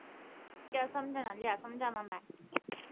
ਕਿਆ ਸਮਝਣਾ ਲਿਆ ਸਮਝਾਵਾਂ ਮੈਂ।